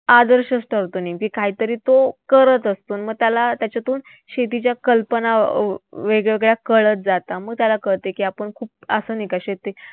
आदर्श असतो की काहीतरी तो करत असतो. त्याला त्याच्यातून शेतीच्या कल्पना वेगवेगळ्या कळत जातात. मग त्याला कळतं की, आपण खूप शेती